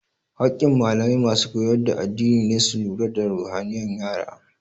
Hakin malamai masu koyar da addini ne su lura da ruhaniyan yara